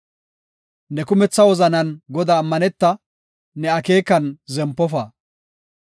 Ne kumetha wozanan Godaa ammaneta; ne akeekan zempofa.